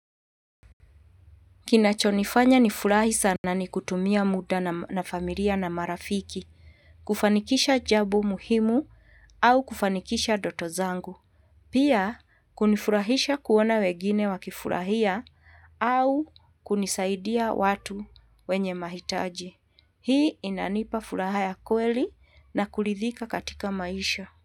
Kinacho nifanya nifurahi sana ni kutumia muda na familia na marafiki kufanikisha jambo muhimu au kufanikisha ndoto zangu. Pia hunifurahisha kuona wengine wakifurahia au kusaidia watu wenye mahitaji. Hii inanipa furaha ya kweli na kuridhika katika maisha.